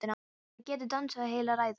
Hún hefði getað dansað heila ræðu.